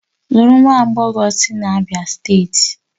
Lụrụ nwa agbọghọ sị Abia steeti!